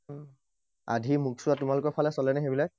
আধি মোক চোৱা, তোমালোকৰ ফালে চলে নে সেইবিলাক?